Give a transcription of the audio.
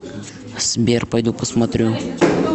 сбер пойду посмотрю